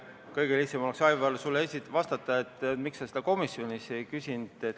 Kõige lihtsam oleks, Aivar, sulle vastata, et miks sa seda komisjonis ei küsinud.